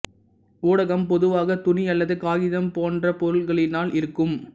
ஊடகம் பொதுவாக துணி அல்லது காகிதம் போன்ற பொருள்களினால் இருக்கும்